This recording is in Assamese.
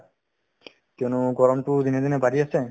কিয়নো গৰমতো দিনে দিনে বাঢ়ি আছে